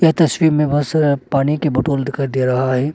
तस्वीर में बहुत सारा पानी की बोतल दिखाई दे रहा है।